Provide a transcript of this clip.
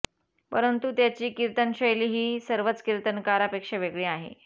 परंतु त्याची कीर्तनशैली हि सर्वच कीर्तनकारा पेक्षा वेगळी आहे